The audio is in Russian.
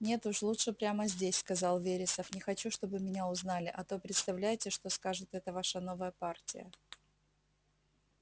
нет уж лучше прямо здесь сказал вересов не хочу чтобы меня узнали а то представляете что скажет эта ваша новая партия